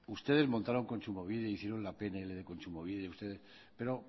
ustedes montaron kontsumobide e hicieron la pnl de kontsumobide pero